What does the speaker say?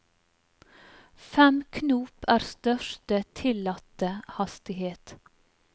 Fem knop er største tillatte hastighet.